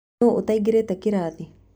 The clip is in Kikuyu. Nũ ũtaingĩrĩte kĩrathi?